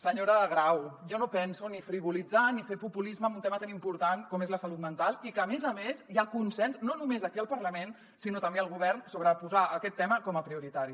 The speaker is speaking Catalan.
senyora grau jo no penso ni frivolitzar ni fer populisme en un tema tan important com és la salut mental que a més a més hi ha consens no només aquí al parlament sinó també al govern sobre posar aquest tema com a prioritari